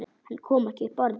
Hann kom ekki upp orði.